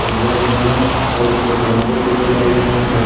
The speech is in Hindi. एक वेन है और उसपे उस वेन पे फूल-वुल लगे हैं और सब --